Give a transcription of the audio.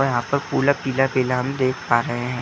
और यहाँ पर पूरा पीला - पीला हम देख पा रहे हैं।